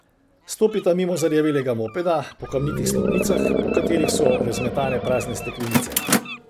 Stopita mimo zarjavelega mopeda, po kamnitih stopnicah, po katerih so razmetane prazne steklenice.